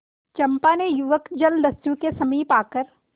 चंपा ने युवक जलदस्यु के समीप आकर